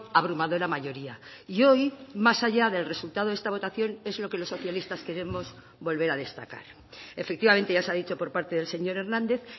abrumadora mayoría y hoy más allá del resultado de esta votación es lo que los socialistas queremos volver a destacar efectivamente ya se ha dicho por parte del señor hernández